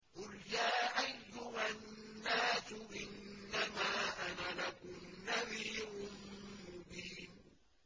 قُلْ يَا أَيُّهَا النَّاسُ إِنَّمَا أَنَا لَكُمْ نَذِيرٌ مُّبِينٌ